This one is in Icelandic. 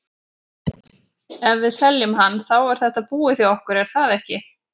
Ef við seljum hann, þá er þetta búið hjá okkur er það ekki?